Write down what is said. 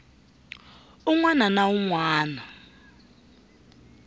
un wana na un wana